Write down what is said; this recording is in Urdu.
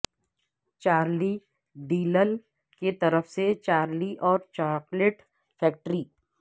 چارلی ڈیلل کی طرف سے چارلی اور چاکلیٹ فیکٹری